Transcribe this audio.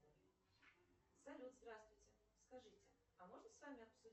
салют здравствуйте скажите а можно с вами обсудить